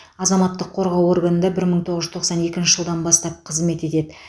азаматтық қорғау органында бір мың тоғыз жүз тоқсан екінші жылдан бастап қызмет етеді